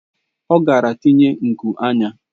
Ọ gara tinye nku anya.